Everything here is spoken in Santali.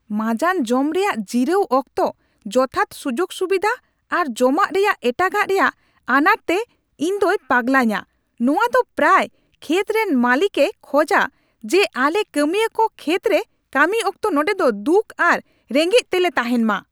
ᱢᱟᱸᱡᱟᱱ ᱡᱚᱢ ᱨᱮᱭᱟᱜ ᱡᱤᱨᱟᱹᱣ ᱚᱠᱛᱚ ᱡᱚᱛᱷᱟᱛ ᱥᱩᱡᱩᱜᱼᱥᱩᱵᱤᱫᱷᱟ ᱟᱨ ᱡᱚᱢᱟᱜ ᱨᱮᱭᱟᱜ ᱮᱴᱟᱜᱟᱜ ᱨᱮᱭᱟᱜ ᱟᱱᱟᱴ ᱛᱮ ᱤᱧ ᱫᱚᱭ ᱯᱟᱜᱞᱟᱧᱟ ᱾ ᱱᱚᱶᱟ ᱫᱚ ᱯᱨᱟᱭ ᱠᱷᱮᱛ ᱨᱮᱱ ᱢᱟᱹᱞᱤᱠᱮ ᱠᱷᱚᱡᱟ ᱡᱮ ᱟᱞᱮ ᱠᱟᱹᱢᱤᱭᱟᱹ ᱠᱚ ᱠᱷᱮᱛ ᱨᱮ ᱠᱟᱹᱢᱤ ᱚᱠᱛᱚ ᱱᱚᱰᱮ ᱫᱚ ᱫᱩᱠᱷ ᱟᱨ ᱨᱮᱜᱮᱪ ᱛᱮᱞᱮ ᱛᱟᱦᱮᱱ ᱢᱟ ᱾